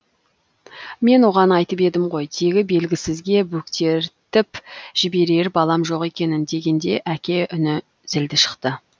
мен оған айтып едім ғой тегі белгісізге бөктертіп жіберер балам жоқ екенін дегенде әке үні зілді шықты